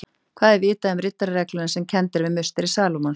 Hvað er vitað um riddararegluna sem kennd er við musteri Salómons?